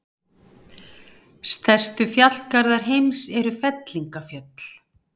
Stærstu fjallgarðar heims eru fellingafjöll.